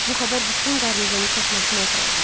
Bu xəbər bütün qarnizonu çaşnaşmaya salacaq.